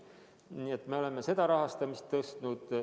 Nii et me oleme seda rahastamist suurendanud.